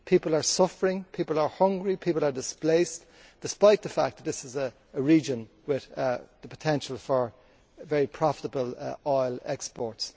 People are suffering, people are hungry, and people are displaced, despite the fact that this is a region with the potential for very profitable oil exports.